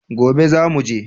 Gobe za mu je